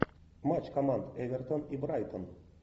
матч команд эвертон и брайтон